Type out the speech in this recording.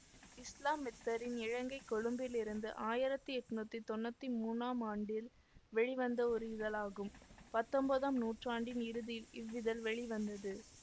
இஸ்லாம் மித்திரன் இலங்கை கொழும்பிலிருந்து ஆயிரத்தி எட்ணூத்தி தொன்னூத்தி மூனாம் ஆண்டில் வெளிவந்த ஒரு இதழாகும் பத்தொன்பதாம் நூற்றாண்டின் இறுதியில் இவ்விதழ் வெளிவந்தது